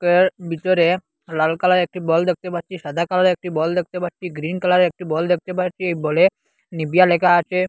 ভিতরে লাল কালার একটি বল দেখতে পারছি সাদা কালারে র একটি বল দেখতে পারছি গ্রীন কালারে র একটি বল দেখতে পারছি এই বলে নিভিয়া লেখা আছে।